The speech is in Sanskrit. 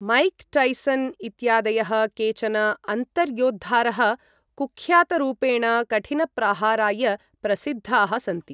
मैक् टैसन् इत्यादयः केचन अन्तर्योद्धारः कुख्यातरूपेण कठिनप्रहाराय प्रसिद्धाः सन्ति।